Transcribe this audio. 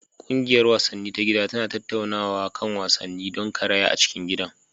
Ƙungiyar wasanni ta gida tana tattaunawa kan wasannin don karaya a cikin gidan.